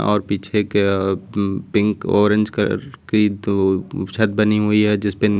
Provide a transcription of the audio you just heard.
और पीछे के पिंक ऑरेंज कलर की दो छत बनी हुई है जिस पे--